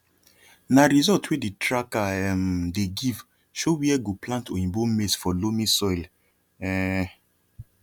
na result wey the tracker um dey give show where go plant oyibo maize for loamy soil um